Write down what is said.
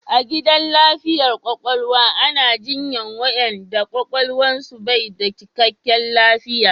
A gidan lafiyar kwakwalwa ana jinyan wayanda kwakwalwan su bai da cikkaken lafiya